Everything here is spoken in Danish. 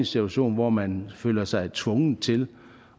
situation hvor man føler sig tvunget til